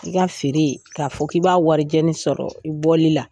I ka feere k'a fɔ k'i b'a waricɛni sɔrɔ i bɔli la